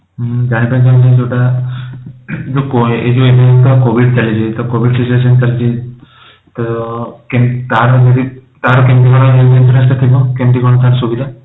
ମୁଁ ଜାଣିବାକୁ ଚାହୁଁଥିଲି ଯୋଉଟା ଏବେ ତ କୋଭିଡ଼ ଚାଲିଛି ତ କୋଭିଡ଼ situation ଚାଲିଛି ତ ତାର ତ କେ ତାର କେମିତି କଣ କେମିତି କଣ ତାର ସୁବିଧା?